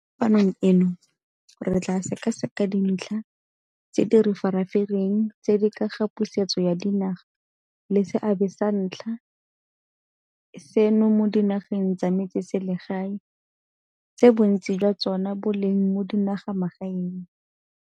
Mo kopanong eno re tla sekaseka dintlha tse di re farafareng tse di ka ga pusetso ya dinaga le seabe sa ntlha eno mo dinageng tsa metse selsegae, tse bontsi jwa tsona bo leng mo dinagamagaeng.